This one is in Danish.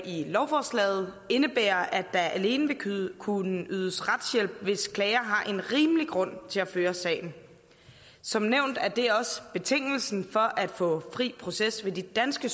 lovforslaget indebærer at der alene vil kunne ydes retshjælp hvis klageren har en rimelig grund til at føre sagen som nævnt er det også betingelsen for at få fri proces ved de danske